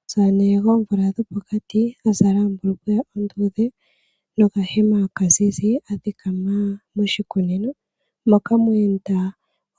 Omusamane gwoomvula dhopokati azala ombulukweya onduudhe nokahema okazizi athikama moshikunino moka mweenda